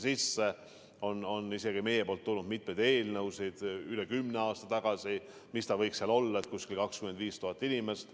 Meilt on üle kümne aasta tagasi tulnud mitmeid eelnõusid, milline võiks see nõue olla: umbes 25 000 inimest.